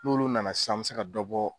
N'olu nana sisan an be se ka dɔ bɔ